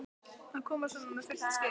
Að koma með svona fullt skip?